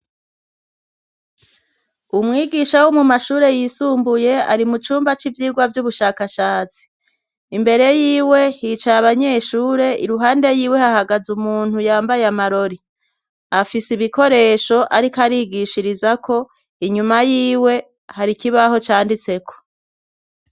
Umwigisha wo mu mashure yisumbuye, ari mu cumba c'ivyigwa vy'ubushakashatsi imbere y'iwe hicaye abanyeshure iruhande y'iwe hahagaze umuntu yambaye amarori afise ibikoresho ariko arigishiriza ko inyuma y'iwe hari kibaho cyanditse ko.